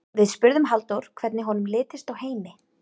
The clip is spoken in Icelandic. Við spurðum Halldór hvernig honum litist á Heimi?